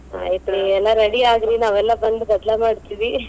ಆಯ್ತ್ ಎಲ್ಲಾ ready ಆಗ್ರೀ ನಾವೆಲ್ಲಾ ಬಂದ್ ಗದ್ಲಾ ಮಾಡ್ತಿವಿ .